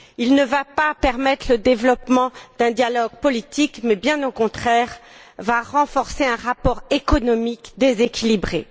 Il ne va pas permettre le développement d'un dialogue politique, mais va, bien au contraire, renforcer un rapport économique déséquilibré.